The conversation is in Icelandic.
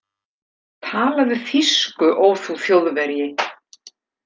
Talaðu þýsku, ó þú Þjóðverji!